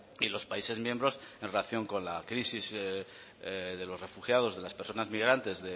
y los países miembros en relación con la crisis de los refugiados de las personas migrantes